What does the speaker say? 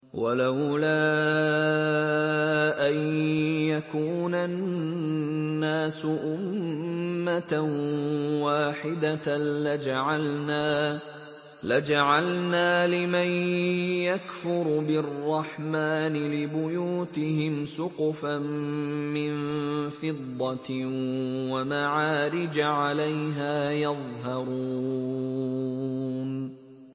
وَلَوْلَا أَن يَكُونَ النَّاسُ أُمَّةً وَاحِدَةً لَّجَعَلْنَا لِمَن يَكْفُرُ بِالرَّحْمَٰنِ لِبُيُوتِهِمْ سُقُفًا مِّن فِضَّةٍ وَمَعَارِجَ عَلَيْهَا يَظْهَرُونَ